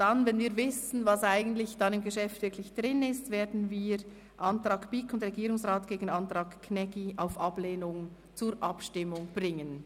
Wenn wir dann wissen, was im Geschäft wirklich enthalten ist, werden wir den Antrag BiK und Regierungsrat gegen den Antrag Gnägi auf Ablehnung zur Abstimmung bringen.